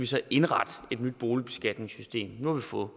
skal indrette et nyt boligbeskatningssystem nu får